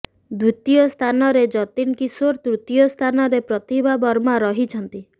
ଦ୍ବିତୀୟ ସ୍ଥାନରେ ଯତୀନ କିଶୋର ତୃତୀୟ ସ୍ଥାନରେ ପ୍ରତିଭା ବର୍ମା ରହିଛନ୍ତି